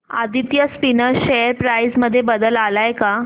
Aditya spinners share price मध्ये बदल आलाय का